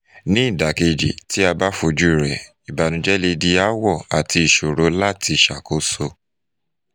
ni idakeji ti a ba foju rẹ ibanujẹ le di aawọ ati ṣoro lati ṣakoso